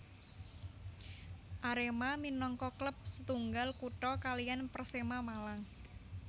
Arema minangka klub setunggal kutha kaliyan Persema Malang